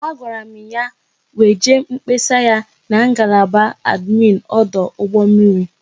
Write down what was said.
A gwara m ya weje mkpesa ya n'ngalaba adminu ọdụ ụgbọ mmiri